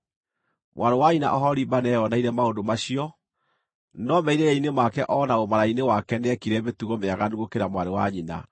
“Mwarĩ wa nyina Oholiba nĩeyoneire maũndũ macio, no merirĩria-inĩ make o na ũmaraya-inĩ wake nĩeekire mĩtugo mĩaganu gũkĩra mwarĩ wa nyina.